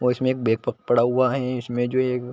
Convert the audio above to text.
और इसमें एक बेफ़क पड़ा हुआ है इसमें जो ये --